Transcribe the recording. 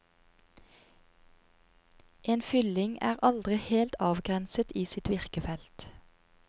En fylling er aldri helt avgrenset i sitt virkefelt.